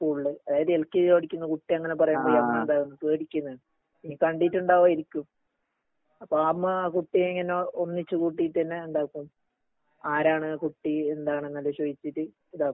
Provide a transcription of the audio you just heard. സ്കൂളില് അതായത് L K G പഠിക്കുന്ന കുട്ടി അങ്ങനെ പറയുമ്പോ എന്താ പേടിക്കുന്നെ നീ കണ്ടിട്ടുണ്ടാവായിരിക്കും. അപ്പൊ ആ അമ്മ ആ കുട്ടിയെ ഇങ്ങനെ ഒന്നിച്ച്‌ കൂട്ടീട്ട് തന്നെ എന്താക്കും ആരാണ് ആ കുട്ടി എന്താണെന്നൊക്കെ ചോയിച്ചിട്ട് ഇതാക്കും